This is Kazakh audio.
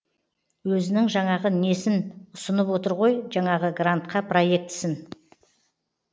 өзінің жаңағы несін ұсынып отыр ғой жаңағы грантқа проектісін